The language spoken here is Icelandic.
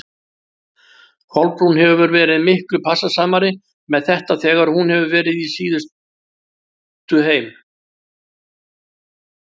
Kolbrún hefur verið miklu passasamari með þetta þegar hún hefur verið síðust heim.